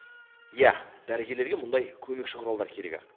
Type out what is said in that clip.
иә дәрігерлерге мұндай көмекші құралдар керек ақ